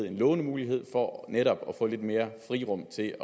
en lånemulighed for netop at få lidt mere frirum til